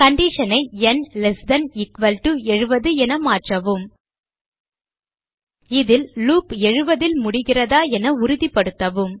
condition i ந் less than equal to 70என மாற்றவும் இதில் லூப் 70 ல் முடிகிறதா என உறுதிப்படுத்தவும்